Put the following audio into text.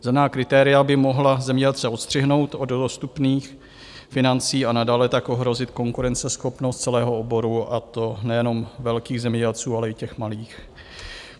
Zelená kritéria by mohla zemědělce odstřihnout od dostupných financí a nadále tak ohrozit konkurenceschopnost celého oboru, a to nejenom velkých zemědělců, ale i těch malých.